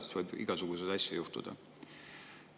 Siis võib igasuguseid asju juhtuda.